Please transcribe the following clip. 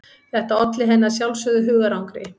Þetta olli henni að sjálfsögðu hugarangri.